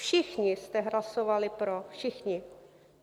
Všichni jste hlasovali pro, všichni.